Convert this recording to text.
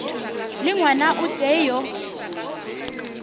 le ngwana o tee yo